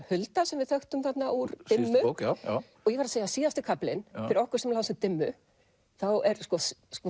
Hulda sem við þekktum þarna úr dimmu ég verð að segja að síðasti kaflinn fyrir okkur sem lásum dimmu þá er sko